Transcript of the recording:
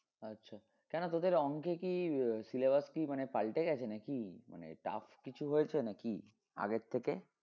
আচ্ছা কেন তোদের অংকে কি আহ syllabus কি মানে পাল্টে গেছে নাকি? মানে tough কিছু হয়েছে নাকি আগের থেকে?